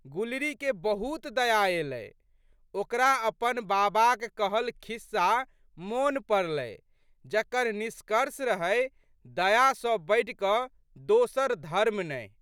गुलरीके बहुत दया एलै। ओकरा अपन बाबाक कहल खिस्सा मोन पड़लै जकर निष्कर्ष रहै दया सँ बढ़िकए दोसर धर्म नहि।